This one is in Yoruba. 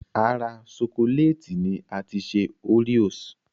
Ara ṣokolẹ́ẹ̀tì ni a ti ṣe oreos